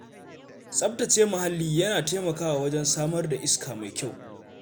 Tsaftace mahalli yana taimakawa wajen samar da iska mai kyau.